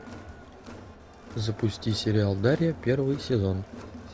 запусти сериал дарья первый сезон